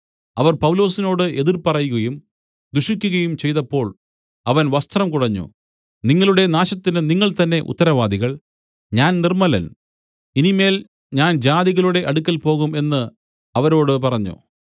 അവർ പൗലോസിനോട് എതിർ പറയുകയും ദുഷിക്കയും ചെയ്തപ്പോൾ അവൻ വസ്ത്രം കുടഞ്ഞു നിങ്ങളുടെ നാശത്തിന് നിങ്ങൾതന്നെ ഉത്തരവാദികൾ ഞാൻ നിർമ്മലൻ ഇനി മേൽ ഞാൻ ജാതികളുടെ അടുക്കൽ പോകും എന്ന് അവരോട് പറഞ്ഞു